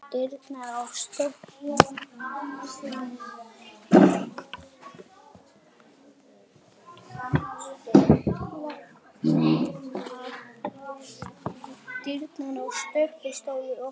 Dyrnar á stöpli stóðu opnar.